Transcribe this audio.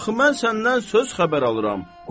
Axı mən səndən söz xəbər alıram.